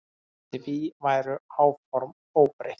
Því væru áform óbreytt.